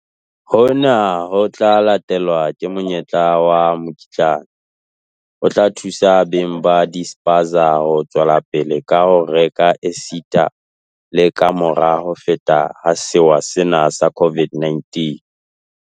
Hona ho tla latelwa ke monyetla wa mokitlane o tla thusa beng ba dispaza ho tswelapele ka ho reka esita le kamora ho feta ha sewa sena sa COVID-19.